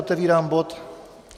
Otevírám bod